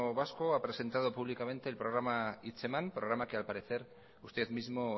vasco ha presentado el programa hitzeman programa que al parecer usted mismo